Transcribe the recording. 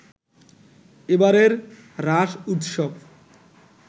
এবারের রাস উৎসব